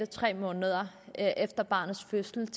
tre måneder efter barnets fødsel